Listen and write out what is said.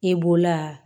I bolola